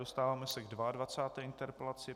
Dostáváme se k 22. interpelaci.